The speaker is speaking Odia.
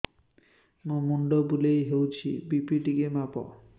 ମୋ ମୁଣ୍ଡ ବୁଲେଇ ହଉଚି ବି.ପି ଟିକେ ମାପ